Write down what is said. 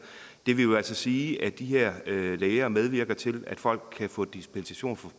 det vil jo altså sige at de her læger medvirker til at folk kan få dispensation